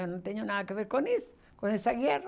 Eu não tenho nada a ver com isso, com essa guerra.